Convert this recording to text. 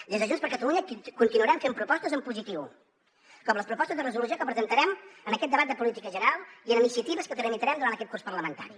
des de junts per catalunya continuarem fent propostes en positiu com les propostes de resolució que presentarem en aquest debat de política general i en iniciatives que tramitarem durant aquest curs parlamentari